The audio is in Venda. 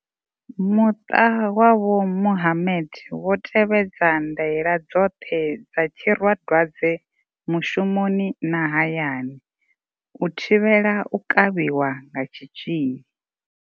Muṱa wa vho Mohammed wo tevhedza ndaela dzoṱhe dza tsiradwadze mushumoni na hayani, u thivhela u kavhiwa nga tshi tzhili.